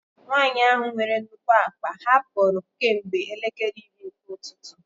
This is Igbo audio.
Nwanyị ahụ nwere nnukwu akpa hapụrụ kemgbe elekere iri nke ụtụtụ.